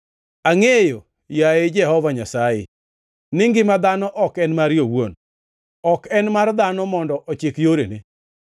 Angʼeyo, yaye Jehova Nyasaye, ni ngima dhano ok en mare owuon; ok en mar dhano mondo ochik yorene.